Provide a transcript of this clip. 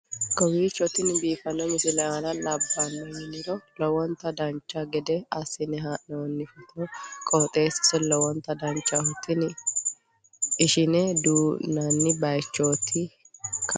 kowiicho tini biiffanno misile maa labbanno yiniro lowonta dancha gede assine haa'noonni foototi qoxeessuno lowonta danachaho. tini ishine duunnanni baychooti kawi